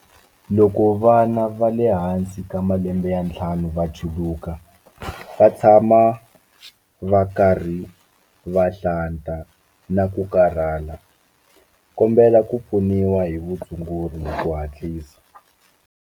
Loko vana va le hansi ka malembe ya ntlhanu va chuluka, va tshama va karhi va hlanta na ku karhala, kombela ku pfuniwa hi vutshunguri hi ku hatlisa.